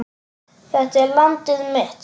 Þetta er landið mitt.